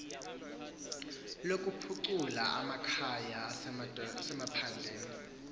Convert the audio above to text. lokuphucula amakhaya asemaphandleni